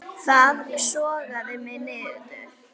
Það sogaði mig niður.